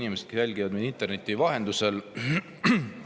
Head inimesed, kes jälgivad meid interneti vahendusel!